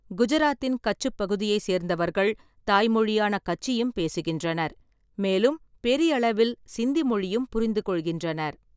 குஜராத்தின் கச்சுப் பகுதியைச் சேர்ந்தவர்கள் தாய்மொழியான கச்சியும் பேசுகின்றனர், மேலும் பெரியளவில் சிந்தி மொழியும் புரிந்துகொள்கின்றனர்.